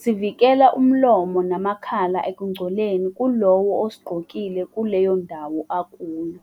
sivikela umlomo namakhala ekugcoleni kulowo osigqokile kuleyo ndawo akuyo.